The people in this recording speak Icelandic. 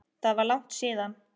Það var langt síðan.